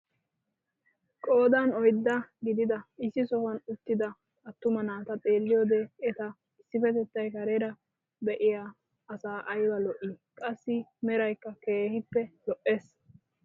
Qoodan oyddaa gididi issi sohuwaan uttida attuma naata xeelliyoode eta issipettettay kareera be'iyaa asaa ayba lo'ii! qassi meraykka keehippe lo"ees.